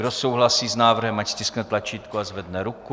Kdo souhlasí s návrhem, ať stiskne tlačítko a zvedne ruku.